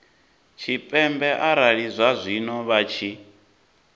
tshipembe arali zwazwino vha tshi